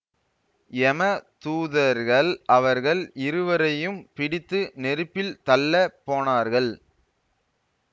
யம தூதர்கள் அவர்கள் இருவரையும் பிடித்து நெருப்பில் தள்ளப் போனார்கள்